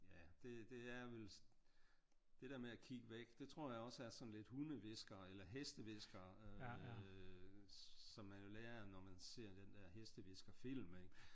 Ja det det er vel det der med at kigge væk det tror jeg også er sådan lidt hundehvisker eller hestehvisker øh som man jo lærer når man ser den der hestehvisker film ik?